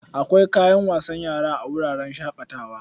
Akwai kayan wasan yara a wuraren shaƙatawa.